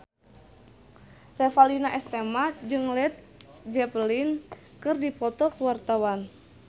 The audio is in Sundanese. Revalina S. Temat jeung Led Zeppelin keur dipoto ku wartawan